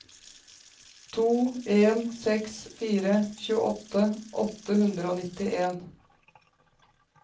to en seks fire tjueåtte åtte hundre og nittien